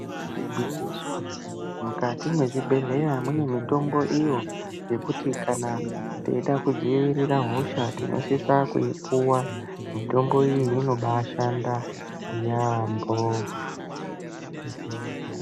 Igwinyiso mukati mezvibhehlera mune mitombo iyo yekuti kana tichida kudzivire hosha tinosisa kuyipuhwa mitombo iyo inombaishanda mbho.